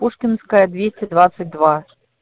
пушкинская двести двадцать два